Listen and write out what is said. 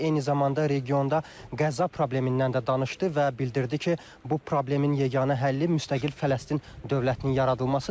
Eyni zamanda regionda qəza problemindən də danışdı və bildirdi ki, bu problemin yeganə həlli müstəqil Fələstin dövlətinin yaradılmasıdır.